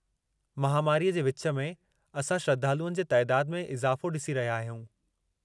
महामारीअ जे विच में, असां श्रद्धालुअनि जे तइदादु में इज़ाफ़ो ॾिसी रहिया आहियूं.